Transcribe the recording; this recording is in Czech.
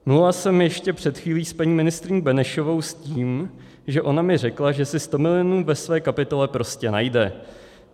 Mluvila jsem ještě před chvílí s paní ministryní Benešovou s tím, že ona mi řekla, že si 100 milionů ve své kapitole prostě najde.